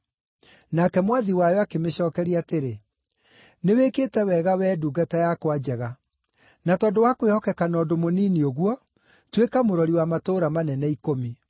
“Nake Mwathi wayo akĩmĩcookeria atĩrĩ, ‘Nĩwĩkĩte wega, wee ndungata yakwa njega! Na tondũ wa kwĩhokeka na ũndũ mũnini ũguo, tuĩka mũrori wa matũũra manene ikũmi.’